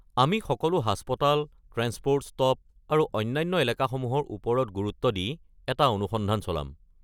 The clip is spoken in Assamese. আমি সকলো হাস্পতাল, ট্ৰেন্সপ'ৰ্ট ষ্টপ আৰু অন্যান্য এলেকাসমূহৰ ওপৰত গুৰুত্ব দি এটা অনুসন্ধান চলাম।